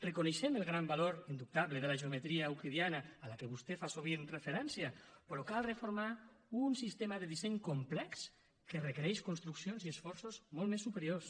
reconeixem el gran valor indubtable de la geometria euclidiana a què vostè fa sovint referència però cal reformar un sistema de disseny complex que requereix construccions i esforços molt més superiors